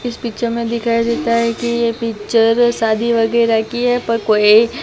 इस पिक्चर में दिखाई देता हैं कि ये पिक्चर शादी वगैरा की हैं पर कोई--